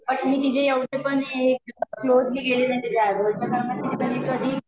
पण मी तिचं एवढं पण क्लोज गेले नाही तिच्या आयब्रो च्या पण मी तरी कधी